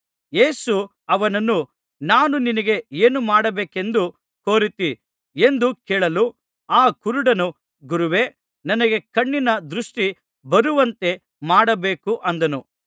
ಯೇಸು ಅವನನ್ನು ನಾನು ನಿನಗೆ ಏನು ಮಾಡಬೇಕೆಂದು ಕೋರುತ್ತೀ ಎಂದು ಕೇಳಲು ಆ ಕುರುಡನು ಗುರುವೇ ನನಗೆ ಕಣ್ಣಿನ ದೃಷ್ಟಿ ಬರುವಂತೆ ಮಾಡಬೇಕು ಅಂದನು